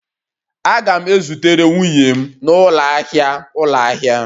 Aga'm e zutere m nwunye m n'ụlọ ahịa ụlọ ahịa